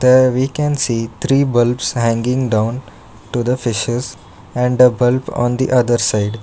there we can see three bulbs hanging down to the fishes and a bulb on the other side.